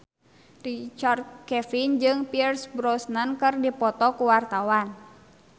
Richard Kevin jeung Pierce Brosnan keur dipoto ku wartawan